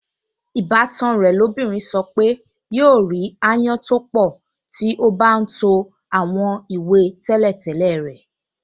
Ìbátan rẹ̀ lóbìnrin sọ pé yóò rí ááyán tó pọ̀ tí ó bá ń to àwọn ìwé tí tẹ́lẹ̀tẹ́lẹ̀ rẹ̀